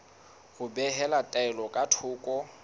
ho behela taelo ka thoko